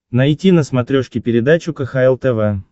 найти на смотрешке передачу кхл тв